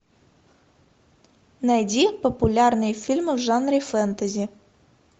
найди популярные фильмы в жанре фэнтези